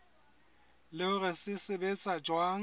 le hore se sebetsa jwang